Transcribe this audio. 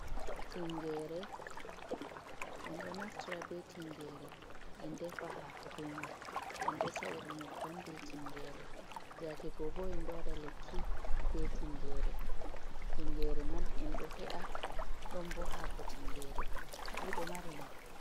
Tingere. En do naftira be tingere en defa hako be man. En do saira nyebbam be tingere yake gobo. En do wada lekki be tingere man. En do sa’ira don bo hako. Tingere fu do mari nafu.